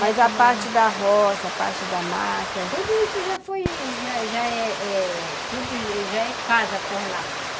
Mas a parte da roça, a parte da mata... Tudo isso já foi, já é casa por lá.